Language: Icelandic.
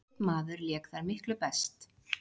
Einn maður lék þar miklu best.